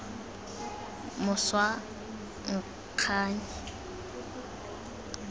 moswanganyi